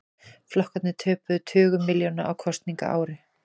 Flokkarnir töpuðu tugum milljóna á kosningaári